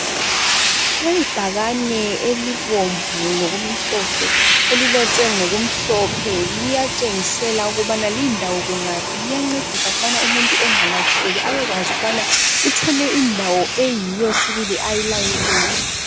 Ibhakane elibombu lokumhlophe, elilotshwe ngokumhlophe, liyatshengisela ukubana lindawo kungaphi. Liyancedisa ukubana umuntu angalahleki, abekwazi ukubana uthole indawo eyiyo sibili ayilayelweyo.